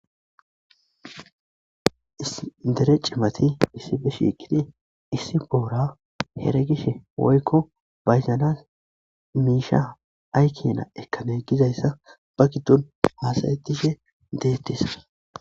dere cimati issife shiiqinee issi boora heregishe woykko bayzanas miisha aykkena ekkane gizayssa ba giddon haasayettishe deettisa